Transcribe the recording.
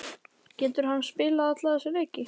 Getur hann spilað alla þessa leiki?